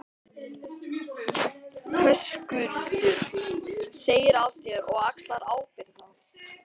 Höskuldur: Segir af þér og axlar ábyrgð þá?